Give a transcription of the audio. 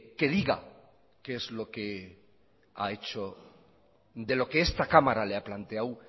que diga qué es lo que ha hecho de lo que esta cámara le ha planteado